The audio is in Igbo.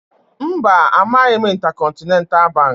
Mba, amaghị m Intercontinental Baankị